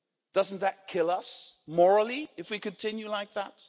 Doesn't that kill us morally if we continue like that?